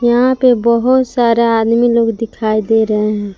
यहां पे बहुत सारा आदमी लोग दिखाई दे रहे हैं।